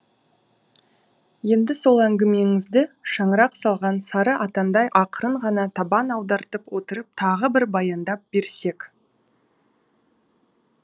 енді сол әңгімеңізді шаңырақ салған сары атандай ақырын ғана табан аудартып отырып тағы бір баяндап берсек